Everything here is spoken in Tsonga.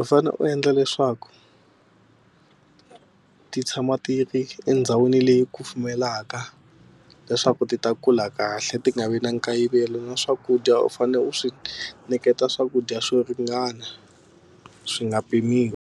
u fane u endla leswaku ti tshama ti ri endhawini leyi kufumelaka leswaku ti ta kula kahle ti nga vi na nkayivelo na swakudya u fanele u swi nyiketa swakudya swo ringana swi nga pimiwi.